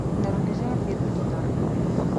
на рубеже ответный удар